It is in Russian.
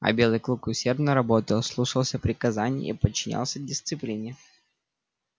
а белый клык усердно работал слушался приказаний и подчинялся дисциплине